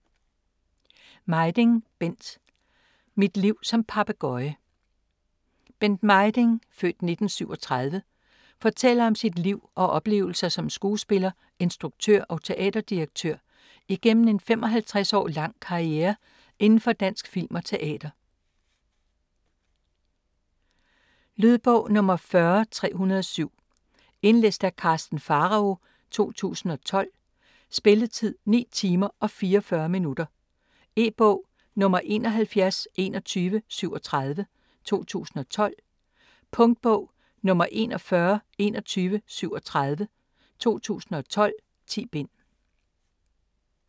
Mejding, Bent: Mit liv som papegøje Bent Mejding (f. 1937) fortæller om sit liv og oplevelser som skuespiller, instruktør og teaterdirektør igennem en 55 år lang karriere indenfor dansk film og teater. Lydbog 40307 Indlæst af Karsten Pharao, 2012. Spilletid: 9 timer, 44 minutter. E-bog 712137 2012. Punktbog 412137 2012. 10 bind.